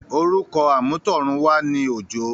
orúkọ àmútọ̀runwá ni “ Òjó”.